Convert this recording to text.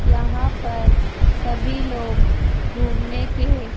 यहां पर सभी लोग घूमने के--